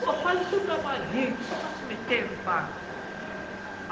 Pô, faz o seu trabalho aí, o que você tá se metendo, pá?